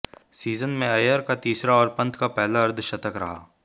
season में अय्यर का तीसरा और पंत का पहला अद्र्धशतक रहा